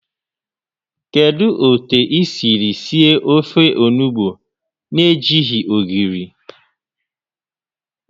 Kedu otu I siri sie ofe onugbu na-ejighị ogiri?